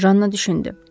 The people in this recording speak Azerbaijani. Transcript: Janna düşündü.